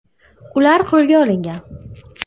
Ular qo‘lga olingan.